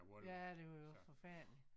Ja det var jo forfærdeligt